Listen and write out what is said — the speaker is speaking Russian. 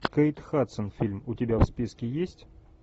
кейт хадсон фильм у тебя в списке есть